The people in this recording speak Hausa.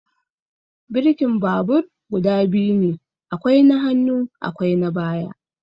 Birkin babur guda biyu ne, akwai na hannu akwai na baya.